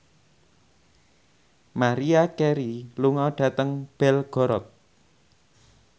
Maria Carey lunga dhateng Belgorod